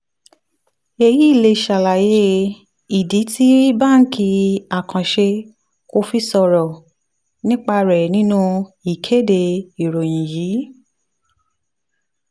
èyí lè ṣàlàyé ìdí tí báńkì àkànṣe kò fi sọ̀rọ̀ nípa rẹ̀ nínú ìkéde ìròyìn yìí.